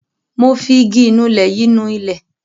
Mo fi igi ìnulẹ̀ yìí nu ilẹ̀.